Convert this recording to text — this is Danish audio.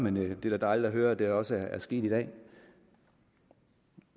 men det er da dejligt at høre at det også er sket i dag